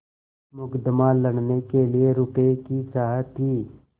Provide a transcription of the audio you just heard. मुकदमा लड़ने के लिए रुपये की चाह थी